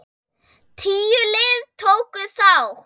Tíu lið tóku þátt.